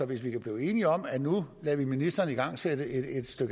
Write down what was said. hvis vi kan blive enige om at nu lader vi ministeren igangsætte et